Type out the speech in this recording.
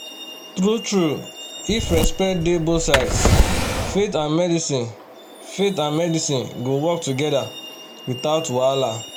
true-true if respect dey both sides faith and medicine faith and medicine go work together without wahala.